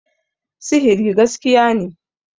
sihiri gaskiya ne